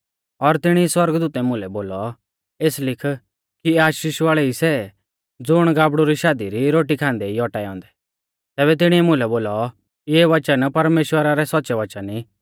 और तिणी सौरगदूतै मुलै बोलौ एस लिख कि आशीष वाल़ै ई सै ज़ुण गाबड़ु री शादी री रोटी खान्दै ई औटाऐ औन्दै तैबै तिणीऐ मुलै बोलौ इऐ वचन परमेश्‍वरा रै सौच़्च़ै वचन ई